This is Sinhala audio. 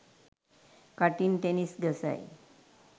කටින් ටෙනිස් ගසයි